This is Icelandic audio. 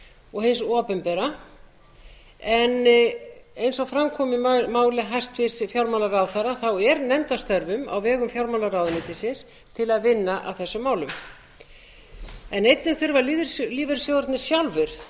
og hins opinbera en eins og fram kom í máli hæstvirts fjármálaráðherra er nefnd að störfum á vegum fjármálaráðuneytisins til að vinna að þessum málum einnig þurfa lífeyrissjóðirnir sjálfir